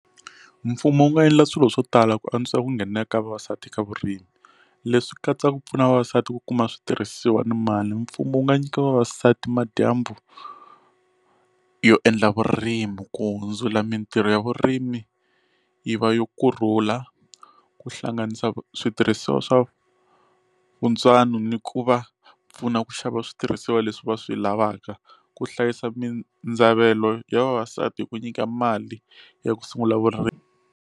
Mfumo wu nga endla swilo swo tala ku antswa ku nghenelela ka vavasati ka vurimi leswi katsaka ku pfuna vavasati ku kuma switirhisiwa ni mali mfumo wu nga nyika vavasati madyambu yo endla vurimi ku hundzula mintirho ya vurimi yi va yo kurhula ku hlanganisa switirhisiwa swa vuntswano ni ku va pfuna ku xava switirhisiwa leswi va swi lavaka ku hlayisa mindzavelo ya vavasati hi ku nyika mali ya ku sungula vurimi.